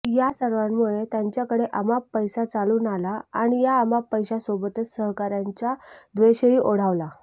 या सर्वांमुळे त्यांच्याकडे अमाप पैसा चालून आला आणि या अमाप पैशासोबतच सहकाऱ्यांचा द्वेषही ओढावला